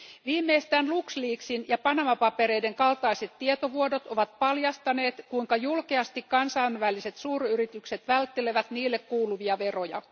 Viimeistään Luxleaksin ja Panama papereiden kaltaiset tietovuodot ovat paljastaneet, kuinka julkeasti kansainväliset suuryritykset välttelevät niille kuuluvia veroja.